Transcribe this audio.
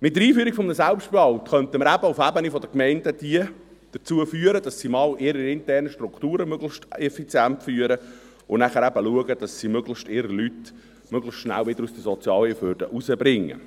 Mit der Einführung eines Selbstbehalts könnten wir eben auf der Ebene der Gemeinden diese dazu führen, dass sie einmal ihre internen Strukturen möglichst effizient führen und dann eben schauen, dass sie ihre Leute möglichst schnell wieder aus der Sozialhilfe rausbringen